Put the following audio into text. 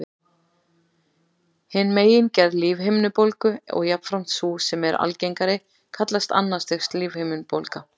Hin megingerð lífhimnubólgu, og jafnframt sú sem er algengari, kallast annars stigs lífhimnubólga.